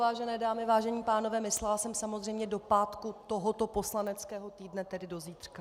Vážené dámy, vážení pánové, myslela jsem samozřejmě do pátku tohoto poslaneckého týdne, tedy do zítřka.